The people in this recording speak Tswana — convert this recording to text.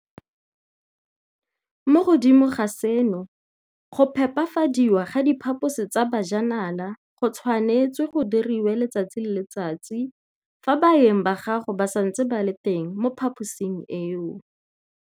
Mo godimo ga seno, go phepafadiwa ga diphaposi tsa bajanala go tshwanetswe go diriwe letsatsi le letsatsi fa baeng ba gago ba santse ba le teng mo phaposing eo.